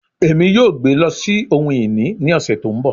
Emi yoo gbe lọ si ohun-ini ni ọsẹ to nbọ